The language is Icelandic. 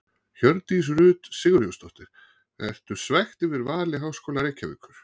Hjördís Rut Sigurjónsdóttir: Ertu svekkt yfir vali Háskóla Reykjavíkur?